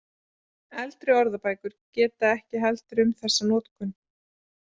Eldri orðabækur geta ekki heldur um þessa notkun.